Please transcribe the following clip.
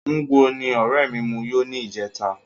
Ngwo ni ọrẹ mi mu yó ní ìjẹta